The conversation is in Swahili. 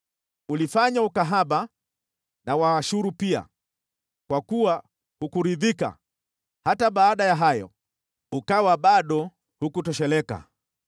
Ulifanya ukahaba na Waashuru pia, kwa kuwa hukuridhika, hata baada ya hayo, ukawa bado hukutosheleka.